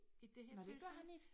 Nåh det gør han ikke?